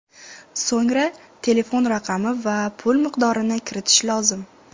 So‘ngra telefon raqami va pul miqdorini kiritish lozim.